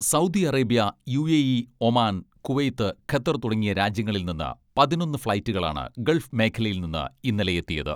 Saudi Arabia, UAE, Oman, Kuwait, Qatar തുടങ്ങിയ രാജ്യങ്ങളിൽ നിന്ന് പതിനൊന്ന് ഫ്ളൈറ്റുകളാണ് ഗൾഫ് മേഖലയിൽ നിന്ന് ഇന്നലെ എത്തിയത്.